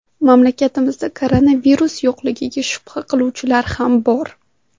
Mamlakatda koronavirus yo‘qligiga shubha qiluvchilar ham bor.